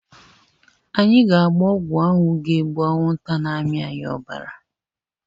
Anyị ga-agba ọgwụ anwụ ga-egbu anwụnta na amị anyị obara